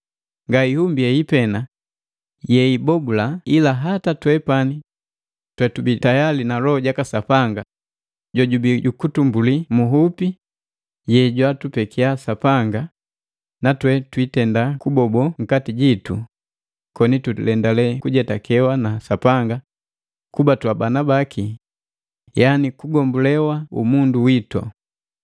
Nga ihumbi hei pena yeyibobula ila hata twepani twetubi tayali na Loho jaka Sapanga, jojubii jukutumbulii mu nhupi yejwatupekia Sapanga, natwe twiitenda kubobo nkati jitu koni tulendale kujetakewa na Sapanga kuba twabana baki yani kugombolewa umundu witu.